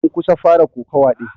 An kusan fara kokawa din.